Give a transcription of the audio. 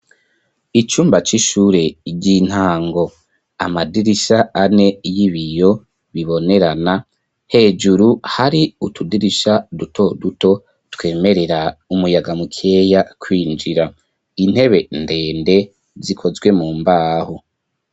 icumba c'ishure ryintango, amadirisha ane y'ibiyo bibonerana hejuru hari utudirisha duto duto twemerera umuyaga mukeya kwinjira. Intebe ndende zikozwe mu mbaho.